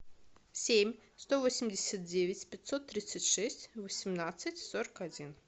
семь сто восемьдесят девять пятьсот тридцать шесть восемнадцать сорок один